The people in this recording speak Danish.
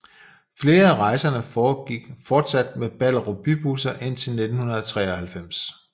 Flere af rejserne foregik fortsat med Ballerup Bybusser indtil 1993